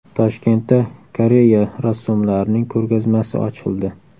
Toshkentda Koreya rassomlarining ko‘rgazmasi ochildi .